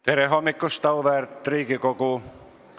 Tere hommikust, auväärt Riigikogu!